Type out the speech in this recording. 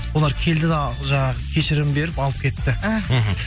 олар келді да жаңағы кешірім беріп алып кетті іхі